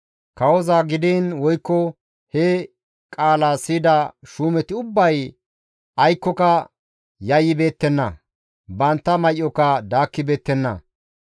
Kawoza gidiin woykko he qaala siyida shuumeti ubbay aykkoka yayyibeettenna; bantta may7oka daakkibeettenna.